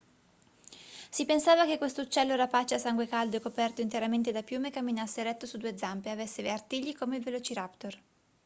si pensava che questo uccello rapace a sangue caldo e coperto interamente da piume camminasse eretto su due zampe e avesse artigli come il velociraptor